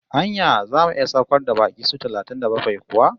Anya zamu iya saukar baƙi su talatin da bakwai kuwa?